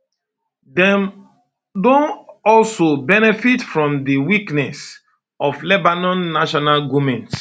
dem don also benefit from di weakness of lebanon national goment